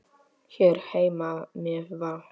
Hér heima með Val.